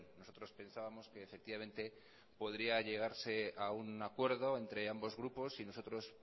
nosotros pensábamos que efectivamente podría llegarse a un acuerdo entre ambos grupos y nosotros